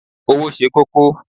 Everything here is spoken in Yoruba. Owo se koko